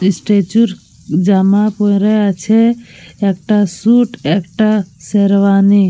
Statue -র জামা পরা আছে। একটা স্যুট একটা শেরওয়ানি।